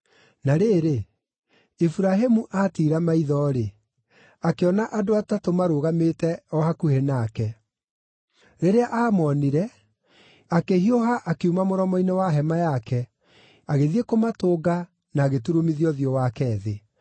Na rĩrĩ, Iburahĩmu aatiira maitho-rĩ, akĩona andũ atatũ marũgamĩte o hakuhĩ nake. Rĩrĩa aamoonire, akĩhiũha akiuma mũromo-inĩ wa hema yake, agĩthiĩ kũmatũnga, na agĩturumithia ũthiũ wake thĩ.